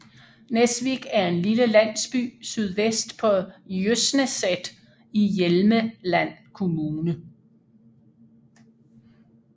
Nesvik er en lille landsby sydvest på Jøsneset i Hjelmeland kommune